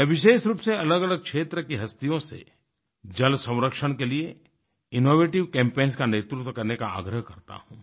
मैं विशेष रूप से अलगअलग क्षेत्र की हस्तियों से जल संरक्षण के लिएinnovative कैम्पेन्स का नेतृत्व करने का आग्रह करता हूँ